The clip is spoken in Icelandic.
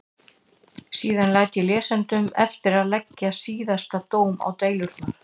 Síðan læt ég lesendum eftir að leggja síðasta dóm á deilurnar.